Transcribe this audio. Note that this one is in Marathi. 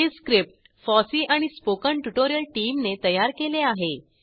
हे स्क्रिप्ट फॉसी आणि spoken ट्युटोरियल टीमने तयार केले आहे